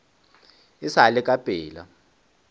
e sa le ka pela